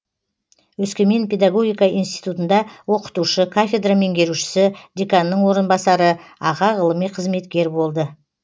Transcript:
өскемен педагогика институтында оқытушы кафедра меңгерушісі деканның орынбасары аға ғылыми қызметкер болды